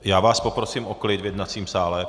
Já vás poprosím o klid v jednacím sále.